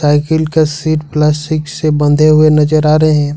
Cycle का seat plastic से बंधे हुए नजर आ रहे हैं।